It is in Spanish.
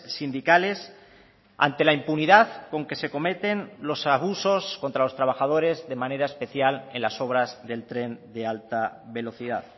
sindicales ante la impunidad con que se cometen los abusos contra los trabajadores de manera especial en las obras del tren de alta velocidad